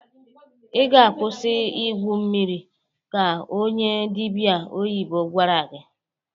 "I ga-akwụsị igwu mmiri!" ka onye dịbịa oyibo gwara ya.